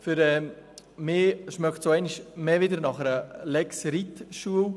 Meines Erachtens riecht es zudem einmal mehr nach einer Lex Reitschule.